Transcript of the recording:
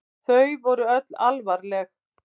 Þau voru öll alvarleg.